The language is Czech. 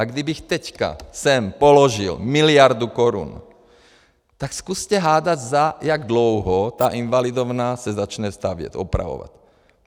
A kdybych teď sem položil miliardu korun, tak zkuste hádat, za jak dlouho ta Invalidovna se začne stavět, opravovat.